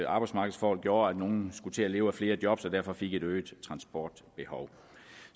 arbejdsmarkedsforhold gjorde at nogle skulle til at leve af flere jobs og derfor fik et øget transportbehov